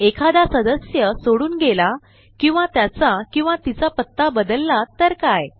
एखादा सदस्य सोडून गेला किंवा त्याचा किंवा तिचा पत्ता बदलला तर काय